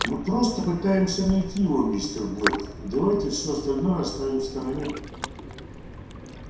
мы просто пытаемся найти его мистер блэк и давайте все остальное оставим в стороне